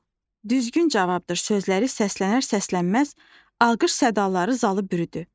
"Bu düzgün cavabdır" sözləri səslənər-səslənməz alqış sədaları zalı bürüdü.